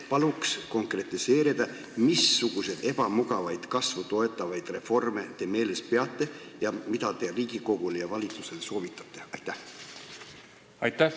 " Palun konkretiseerida, missuguseid ebamugavaid kasvu toetavaid reforme te silmas peate ning mida te Riigikogule ja valitsusele soovitate!